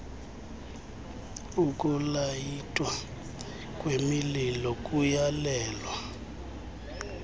ukulayitwa kwemililo kuyalelwa